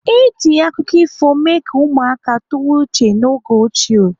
Eji akụkọ ifo mee ka ụmụaka tụwa uche n'oge ochie.